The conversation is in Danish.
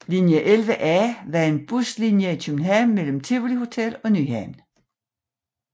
Linje 11A var en buslinje i København mellem Tivoli Hotel og Nyhavn